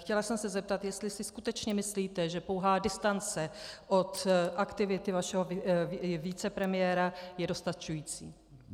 Chtěla jsem se zeptat, jestli si skutečně myslíte, že pouhá distance od aktivity vašeho vicepremiéra je dostačující.